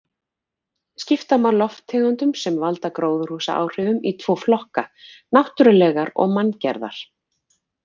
Skipta má lofttegundum sem valda gróðurhúsaáhrifum í tvo flokka: náttúrulegar og manngerðar.